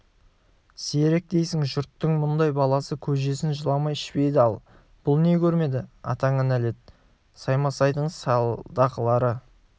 зерек дейсің жұрттың мұндай баласы көжесін жыламай ішпейді ал бұл не көрмеді атаңа нәлет саймасайдың салдақылары